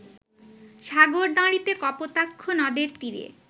সাগরদাঁড়িতে কপোতাক্ষ নদের তীরে